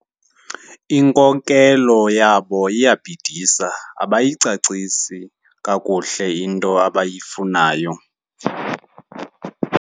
Inkokelo yabo iyabhidisa abayicacisi kakuhle into abayifunayo.